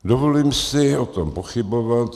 Dovolím si o tom pochybovat.